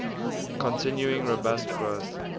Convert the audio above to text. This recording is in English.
continuing robust growth